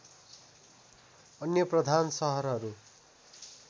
अन्य प्रधान सहरहरू